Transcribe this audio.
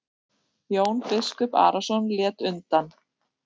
Jón biskup Arason lét undan.